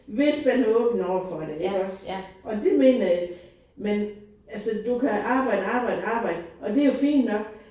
Hvis man er åben overfor det iggås og det mener jeg. Men altså du kan arbejde arbejde arbejde og det jo fint nok